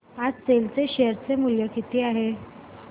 आज सेल चे शेअर चे मूल्य किती आहे